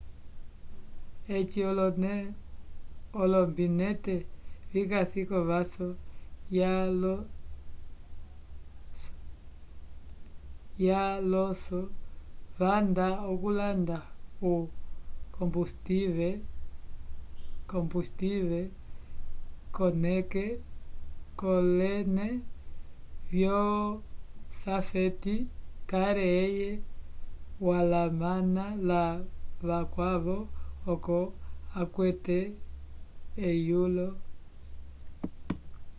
eci olombinete vikasi kovaso ya alonso vanda okulanda o combustive kolene vyo safety car eye walamana la vakwavo oco akwate eyulo